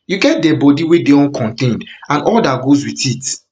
you get dead body wey dey uncontained and all dat goes with it